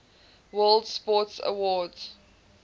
world sports awards